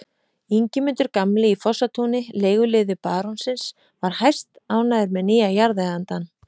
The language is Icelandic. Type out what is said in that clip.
Ingimundur gamli í Fossatúni, leiguliði barónsins, var hæstánægður með nýja jarðeigandann.